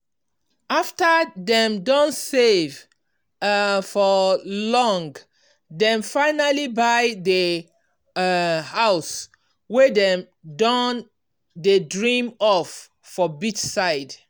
after dem don save um for long dem finally buy di um house wey dem don dey dream of for beachside.